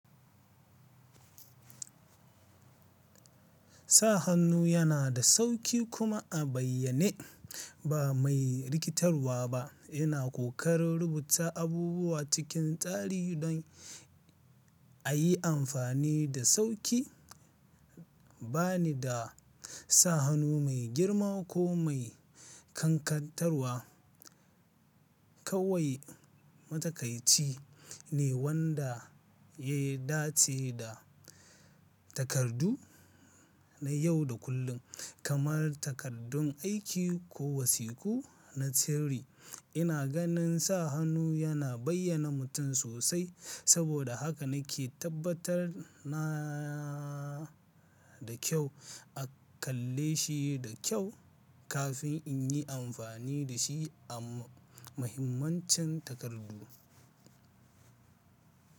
Sa hannu yana da sauƙi kuma a bayyane ba mai rikitarwa ba. Yana ƙoƙarin rubuta abubuwa cikin tsari don a yi amfani da sauƙi. Ba ni da sa hannu mai girma ko mai ƙanƙantarwa. Kawai matakai ci ne wanda ya dace da takardu na yau da kullum, kamar takaddun aiki ko wasiƙu na sirri. Ina ganin sa hannu yana bayyana mutum sosai, saboda haka nake tabbatar na da kyau a kalle shi da kyau kafin in yi amfani da shi a muhimmancin takardu.